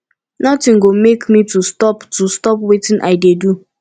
nothing go make me to stop to stop wetin i dey do